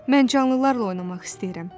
Mən canlılarla oynamaq istəyirəm.